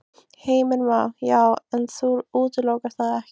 Heimir Már: Já, en þú útilokar það ekki?